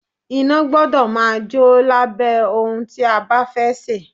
Iná gbọ́dọ̀ máa jò lábẹ́ ohun tí a bá fẹ́ sè.